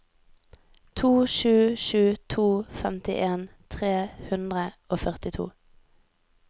to sju sju to femtien tre hundre og førtito